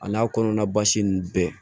A n'a kɔnɔna basi ninnu bɛɛ